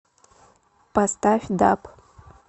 поставь даб